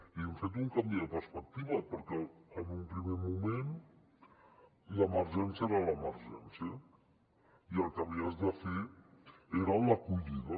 i hem fet un canvi de perspectiva perquè en un primer moment l’emergència era l’emergència i el que havies de fer era l’acollida